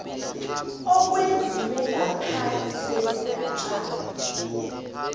owenziwe ngaphasi kwesigatjana